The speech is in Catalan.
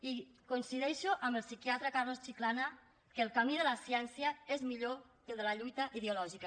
i coincideixo amb el psiquiatre carlos chiclana que el camí de la ciència és millor que el de la lluita ideològica